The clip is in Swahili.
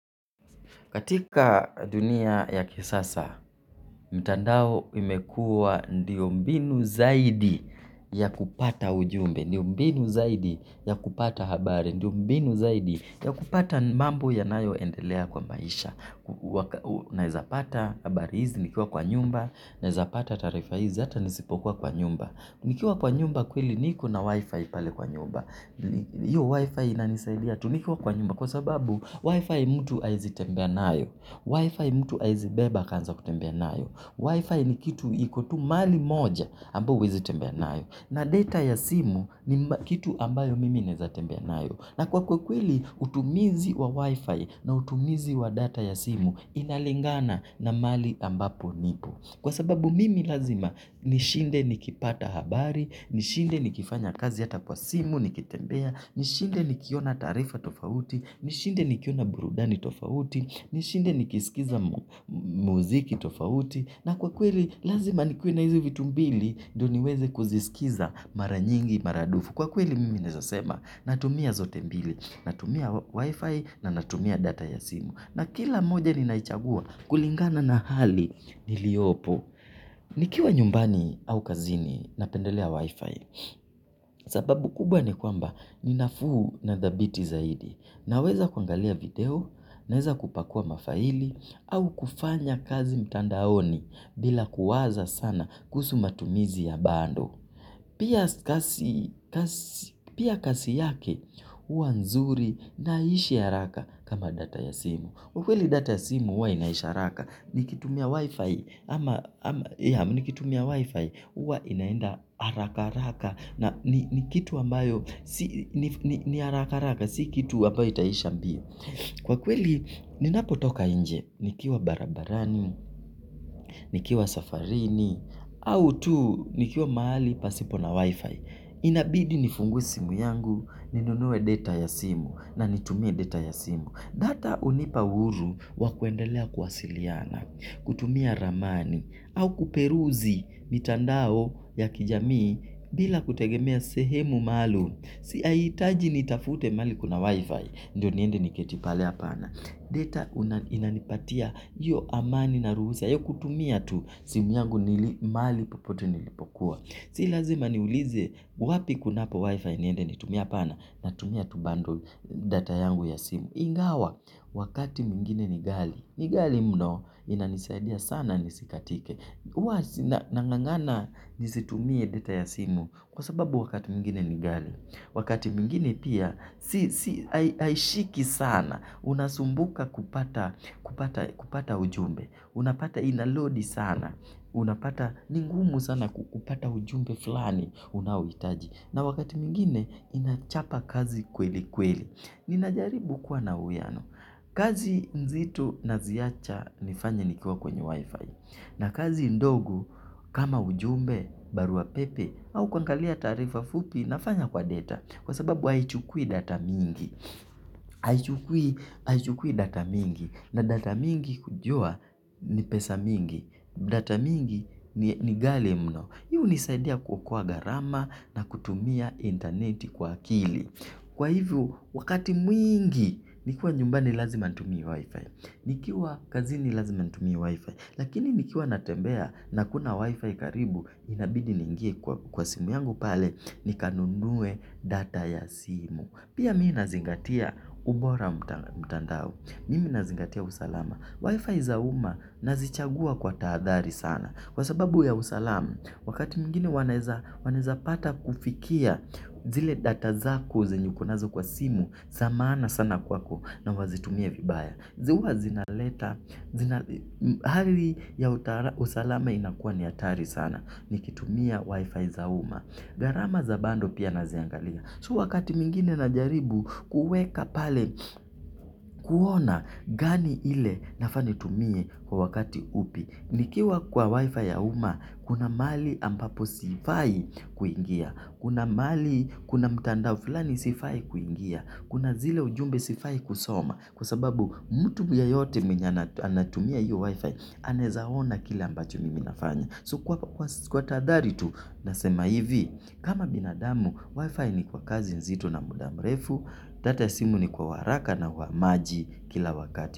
Katika dunia ya kisasa, mtandao imekuwa ndiyo mbinu zaidi ya kupata ujumbe, ndiyo mbinu zaidi ya kupata habari, ndiyo mbinu zaidi ya kupata mambo yanayo endelea kwa maisha. Naeza pata habari hizi, nikiwa kwa nyumba, naeza pata taarifa hizi, hata nisipokuwa kwa nyumba. Nikiwa kwa nyumba kweli niko na wifi pale kwa nyumba. Hiyo wifi inanisaidia tu nikiwa kwa nyumba kwa sababu wifi mtu haezi tembea nayo. Wifi mtu haezi beba akaanza kutembea nayo. Wifi ni kitu iko tu mahali moja ambao huwezi tembea nayo. Na data ya simu ni kitu ambayo mimi naweza tembea nayo. Na kwa kwa kweli utumizi wa wifi na utumizi wa data ya simu. Inalingana na mahali ambapo nipo. Kwa sababu mimi lazima nishinde nikipata habari, nishinde nikifanya kazi hata kwa simu, nikitembea, nishinde nikiona taarifa tofauti, nishinde nikiona burudani tofauti, nishinde nikisikiza muziki tofauti. Na kwa kweli lazima nikuwe na hizi vitu mbili ndio niweze kuziskiza mara nyingi, mara dufu. Kwa kweli mimi naweza sema natumia zote mbili, natumia wifi na natumia data ya simu. Na kila moja ninaichagua kulingana na hali iliyopo. Nikiwa nyumbani au kazini napendelea wifi. Sababu kubwa ni kwamba ni nafuu na thabiti zaidi. Naweza kuangalia video, naweza kupakua mafaili au kufanya kazi mtandaoni, bila kuwaza sana kuhusu matumizi ya bundle. Pia kasi yake, huwa nzuri, na haiishi haraka kama data ya simu. Kwa kweli data ya simu, huwa inaisha haraka. Nikitumia wifi, huwa inaenda haraka haraka. Na ni kitu ambayo, ni haraka haraka. Si kitu ambayo itaisha mbio. Kwa kweli, ninapotoka nje, nikiwa barabarani, nikiwa safarini, au tu nikiwa mahali pasipo na wifi. Inabidi nifungue simu yangu, ninunue data ya simu, na nitumie data ya simu. Data hunipa uhuru wa kuendelea kuwasiliana, kutumia ramani, au kuperuzi mitandao ya kijamii bila kutegemea sehemu maalum. Si haihitaji nitafute mahali kuna wifi, ndio niende niketi pale hapana. Data inanipatia hiyo amani na ruhusa, ya kutumia tu, simu yangu nili mahali popote nilipokuwa. Si lazima niulize wapi kunapo wifi niende nitumie, hapana. Natumia tu bundle, data yangu ya simu. Ingawa, wakati mwingine ni ghali, ni ghali mno, inanisaidia sana nisikatike. Huwa nang'ang'ana nisitumie data ya simu, kwa sababu wakati mwingine ni ghali. Wakati mwingine pia, si haishiki sana. Unasumbuka kupata ujumbe. Unapata inalodi sana. Unapata ni ngumu sana kupata ujumbe fulani. Unaouhitaji. Na wakati mwingine, inachapa kazi kweli kweli. Ninajaribu kuwa na uwiano, kazi nzito naziacha nifanye nikiwa kwenye wifi. Na kazi ndogo kama ujumbe, barua pepe, au kuangalia taarifa fupi, nafanya kwa data. Kwa sababu haichukui data mingi, haichukui data mingi. Na data mingi hujua ni pesa mingi, data mingi ni ghali mno. Hii hunisaidia kuokoa gharama, na kutumia interneti kwa akili. Kwa hivyo, wakati mwingi, nikiwa nyumbani lazima nitumie wi-fi. Nikiwa kazini lazima nitumie wi-fi. Lakini nikiwa natembea na hakuna wi-fi karibu, inabidi niingie kwa simu yangu pale, nikanunue data ya simu. Pia mi nazingatia ubora mtandao. Mimi nazingatia usalama. Wi-Fi za umma nazichagua kwa tahadhari sana. Kwa sababu ya usalama, wakati mwingine wanaeza pata kufikia zile data zako zenye uko nazo kwa simu, za maana sana kwako na wazitumie vibaya. Zi huwa zinaleta, hali ya usalama inakuwa ni hatari sana, nikitumia Wi-Fi za umma. Gharama za bundle pia naziangalia. Tu wakati mwingine najaribu kuuweka pale kuona gani ile nafaa nitumie kwa wakati upi. Nikiwa kwa wifi ya umma, kuna mahali ambapo sifai kuingia. Kuna mahali, kuna mtandao fulani sifai kuingia. Kuna zile ujumbe sifai kusoma. Kwa sababu mtu yeyote mwenye anatumia hiyo wifi, anaweza ona kile ambacho mimi nafanya. So kwa tahadhari tu nasema hivi. Kama binadamu, wifi ni kwa kazi nzito na muda mrefu. Data ya simu ni kwa uharaka na uhamaji kila wakati.